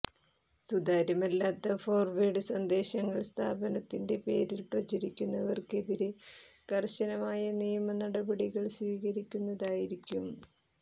സുതാര്യമല്ലാത്ത forward സന്ദേശങ്ങൾ സ്ഥാപനത്തിന്റെ പേരിൽ പ്രചരിപ്പിക്കുന്നവർക്കെതിരെ കർശനമായ നിയമ നടപടികൾ സ്വീകരിക്കുന്നതായിരിക്കും